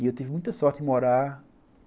E eu tive muita sorte em morar.